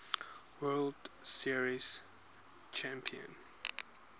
world series champion